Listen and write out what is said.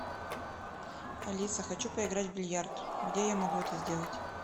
алиса хочу поиграть в бильярд где я могу это сделать